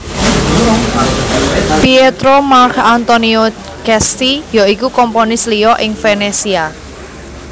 Pietro Marc Antonio Cesti ya iku komponis liya ing Venetia